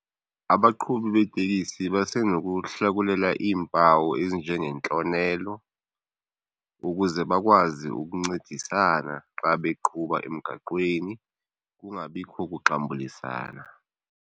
Abaqhubi beetekisi basenokuhlakulela iimpawu ezinje ngentlonelo ukuze bakwazi ukuncedisana xa beqhuba emgaqweni kungabikho kuxambulisana.